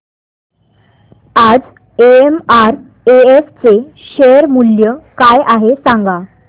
आज एमआरएफ चे शेअर मूल्य काय आहे सांगा